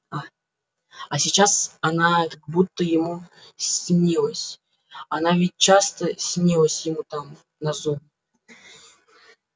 а а сейчас она как будто ему снилась она ведь часто снилась ему там на зоне